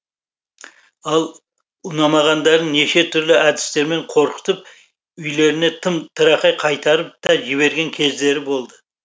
ал ұнамағандарын неше түрлі әдістерімен қорқытып үйлеріне тым тырақай қайтарып та жіберген кездері болды